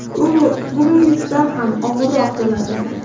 U bugungisidan ham og‘irroq bo‘ladi.